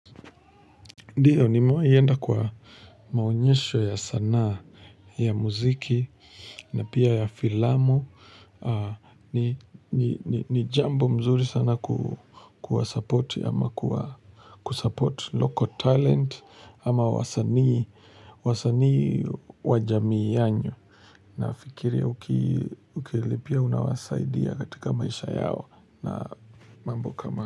Ndio nimewahi enda kwa maonyesho ya sanaa ya muziki na pia ya filamu. Ni jambo mzuri sana kuwa supporti ama kusupporti local talent ama wasanii wa jamii yenu. Nafikiria ukilipia unawasaidia katika maisha yao na mambo kama.